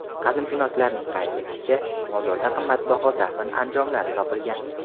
Qadimshunoslarning qayd etishicha, mozorda qimmatbaho dafn anjomlari topilgan.